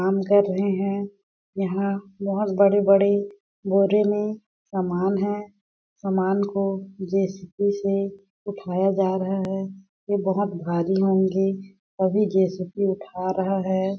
काम कर रहे हैं यहाँ बहुत बड़े-बड़े बोरे में सामान है सामान को जे_सी_बी से उठाया जा रहा है ये बहुत भारी होंगे अभी जे_सी_बी उठा रहा है।